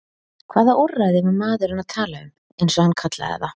Hvaða úrræði var maðurinn að tala um, eins og hann kallaði það?